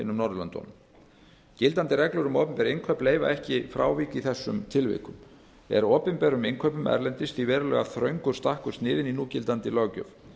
norðurlöndunum gildandi reglur um opinber innkaup leyfa ekki frávik í þessum tilvikum er opinberum innkaupum erlendis því verulega þröngur stakkur sniðinn í núgildandi löggjöf